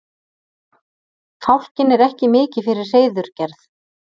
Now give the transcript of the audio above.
fálkinn er ekki mikið fyrir hreiðurgerð